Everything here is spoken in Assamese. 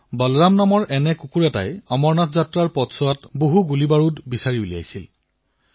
বলৰাম নামৰ এটা কুকুৰে ২০০৬ চনত অমৰনাথ যাত্ৰাৰ পথত বৃহৎ মাত্ৰাত বোমা সন্ধান কৰি উলিয়াইছিল